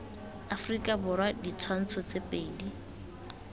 aforika borwa ditshwantsho tse pedi